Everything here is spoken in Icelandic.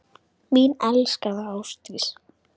Mín elskaða Ásdís.